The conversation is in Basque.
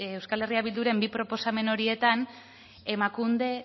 euskal herria bilduren bi proposamen horietan emakunde